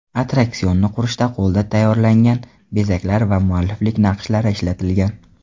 Attraksionni qurishda qo‘lda tayyorlangan bezaklar va mualliflik naqshlari ishlatilgan.